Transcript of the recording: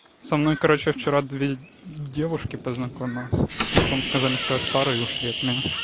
со мной короче вчера две девушки познакомилась а потом сказали что я старый и ушли от меня